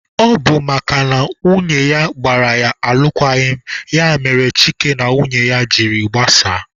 Ọ bụ makana nwunye ya gbara ya alụkwaghịm ya mere Chike na nwunye ya jiri gbasaa.